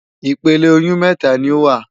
Ìpele oyún mẹ́ta ni ó wà.